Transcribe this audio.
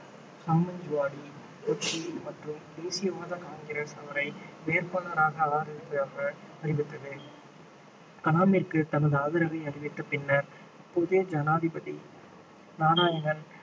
சமாஜ்வாடி கட்சி மற்றும் தேசியவாத காங்கிரஸ் அவரை வேட்பாளராக அறிவித்தது கலாமிற்கு தனது ஆதரவை அறிவித்த பின்னர் அப்போதைய ஜனாதிபதி நாராயணன்